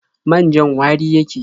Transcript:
Man-jan wari yake.